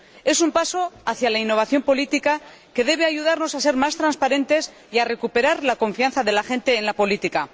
Es un paso hacia la innovación política, que debe ayudarnos a ser más transparentes y a recuperar la confianza de la gente en la política.